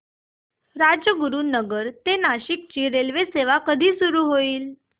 राजगुरूनगर ते नाशिक ची रेल्वेसेवा कधी सुरू होईल